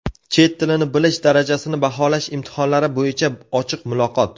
Chet tilini bilish darajasini baholash imtihonlari bo‘yicha ochiq muloqot.